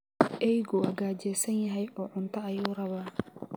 Eeygu waa gaajaysan yahay oo cunto ayuu rabaa.